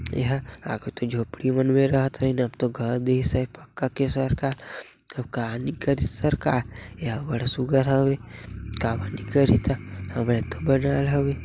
एहा काए कथे झोपड़ी मन मे राहत होही न अब तो घर दीसे सरकार तब का नई करिस सरकार एहा अब्बड़ सुघघर हवे काबर नई करही ता हमरे तो बनाए हरे।